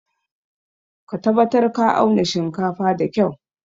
Ka tabatar ka auna shinkafan da kyua!